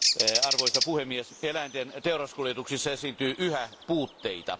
Arvoisa puhemies, eläinten teuraskuljetuksissa esiintyy yhä puutteita.